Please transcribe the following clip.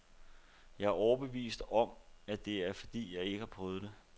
Jeg er overbevist om, at det er fordi jeg ikke har prøvet det.